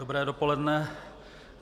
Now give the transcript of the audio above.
Dobré dopoledne.